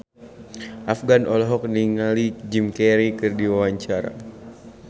Afgan olohok ningali Jim Carey keur diwawancara